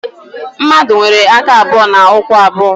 Mmadụ nwere aka abụọ na ụkwụ abụọ